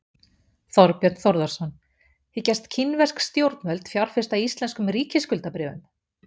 Þorbjörn Þórðarson: Hyggjast kínversk stjórnvöld fjárfesta í íslenskum ríkisskuldabréfum?